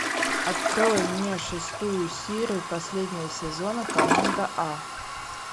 открой мне шестую серию последнего сезона команда а